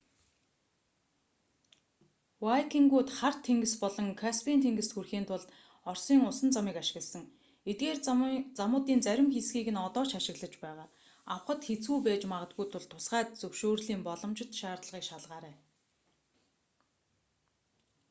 вайкингууд хар тэнгис болон каспийн тэнгист хүрэхийн тулд оросын усан замыг ашигласан эдгээр замуудын зарим хэсгийг одоо ч ашиглаж байгаа авахад хэцүү байж магадгүй тул тусгай зөвшөөрлийн боломжит шаардлагыг шалгаарай